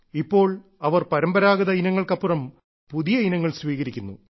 ഇപ്പോൾ അവർ പരമ്പരാഗത ഇനങ്ങൾക്ക് അപ്പുറം പുതിയ ഇനങ്ങൾ സ്വീകരിക്കുന്നു